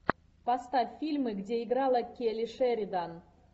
поставь фильмы где играла келли шеридан